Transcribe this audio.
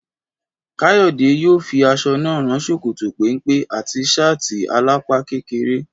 Káyọ̀dé yóò fi aṣọ náà rán ṣòkòtò péńpé àti ṣáàtì alápá kékeré